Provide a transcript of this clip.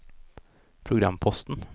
programposten